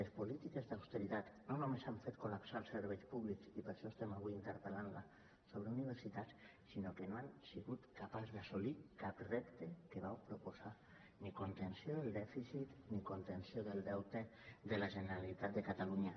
les polítiques d’austeritat no només han fet col·lapsar els serveis públics i per això estem avui interpel·lant la sobre universitats sinó que no han sigut capaços d’assolir cap repte dels que vau proposar ni contenció del dèficit ni contenció del deute de la generalitat de catalunya